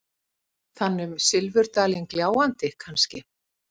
Þann um silfurdalinn gljáandi, kannske?